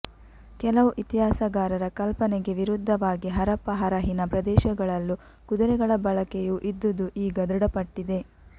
ಕೆಲವು ಇತಿಹಾಸಗಾರರ ಕಲ್ಪನೆಗೆ ವಿರುದ್ಧವಾಗಿ ಹರಪ್ಪ ಹರಹಿನ ಪ್ರದೇಶಗಳಲ್ಲೂ ಕುದುರೆಗಳ ಬಳಕೆಯೂ ಇದ್ದುದು ಈಗ ಧೃಡಪಟ್ಟಿದೆ